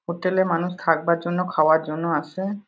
Hotel -এ মানুষ থাকবার জন্য খাবার জন্য আসে-এ ।